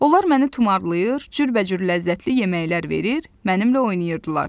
Onlar məni tumarlayır, cürbəcür ləzzətli yeməklər verir, mənimlə oynayırdılar.